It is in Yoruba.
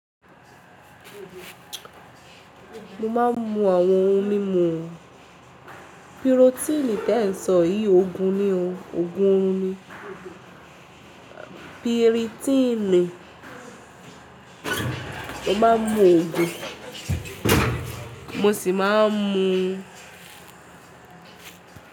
Mo má ń mú àwọn ohun mímu pirotini tẹ́ẹ̀ sọ yìí ogun ni ó, ogun orun ni. Piritini, mo máa ń mu oògun, mo sì máa ń mu.